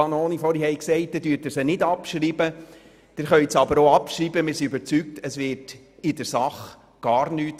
Ob Sie sie abschreiben, ändert unserer Überzeugung nach gar nichts.